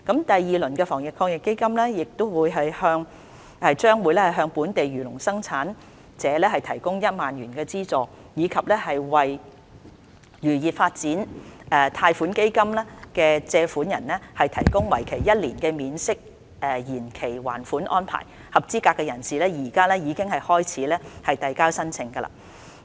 第二輪的防疫抗疫基金亦將會向本地漁農生產者提供1萬元的資助，以及為"漁業發展貸款基金"的借款人提供為期一年的免息延期還款安排，合資格人士現已可以開始遞交申請。